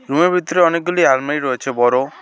রুমের ভিতরে অনেকগুলি আলমারি রয়েছে বড়ো।